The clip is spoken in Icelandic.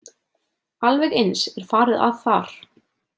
Alveg eins er farið að þar.